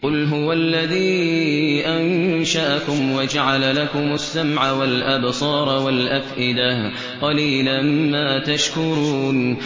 قُلْ هُوَ الَّذِي أَنشَأَكُمْ وَجَعَلَ لَكُمُ السَّمْعَ وَالْأَبْصَارَ وَالْأَفْئِدَةَ ۖ قَلِيلًا مَّا تَشْكُرُونَ